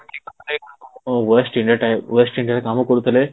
West India time West ଇଣ୍ଡିଆରେ କାମ କରୁଥିଲେ